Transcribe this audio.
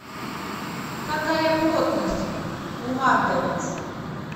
какая плотность у марганец